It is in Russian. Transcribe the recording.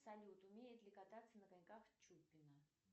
салют умеет ли кататься на коньках чупина